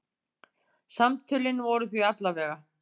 Samtölin voru því alla vega.